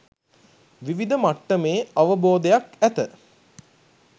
විවිධ මට්ටමේ අවබෝධයක් ඇත.